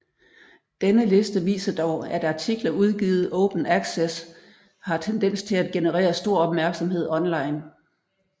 Denne liste viser dog at artikler udgivet Open Access har tendens til at generere stor opmærksomhed online